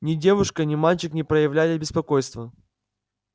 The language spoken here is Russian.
ни девушка ни мальчик не проявляли беспокойства